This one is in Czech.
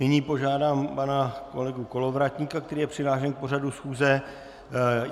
Nyní požádám pana kolegu Kolovratníka, který je přihlášen k pořadu schůze.